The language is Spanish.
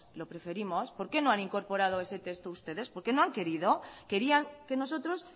lo preferimos por qué no han incorporado ese texto ustedes porque no han querido querían que nosotros